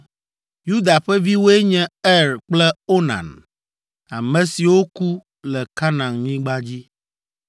Yuda ƒe viwoe nye Er kple Onan, ame siwo ku le Kanaanyigba dzi.